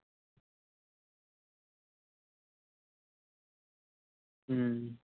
ਹਮ